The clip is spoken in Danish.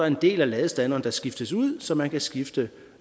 en del af ladestanderen der kan skiftes ud så man kan skifte